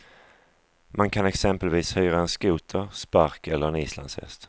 Man kan exempelvis hyra en skoter, spark eller en islandshäst.